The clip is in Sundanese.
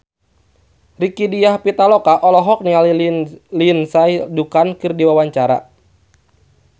Rieke Diah Pitaloka olohok ningali Lindsay Ducan keur diwawancara